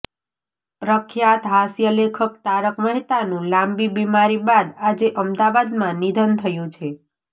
પ્રખ્યાત હાસ્ય લેખક તારક મહેતાનું લાંબી બીમારી બાદ આજે અમદાવાદમાં નિધન થયું છે